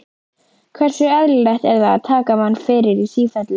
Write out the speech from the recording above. Hversu eðlilegt er það að taka mann fyrir í sífellu?